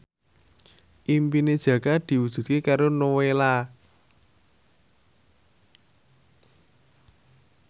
impine Jaka diwujudke karo Nowela